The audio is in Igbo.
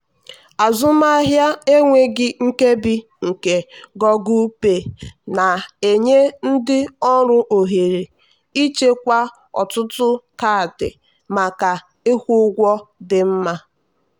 azụmahịa enweghị nkebi nke google pay na-enye ndị ọrụ ohere ịchekwa ọtụtụ kaadị maka ịkwụ ụgwọ dị mma.